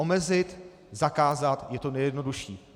Omezit, zakázat je to nejjednodušší.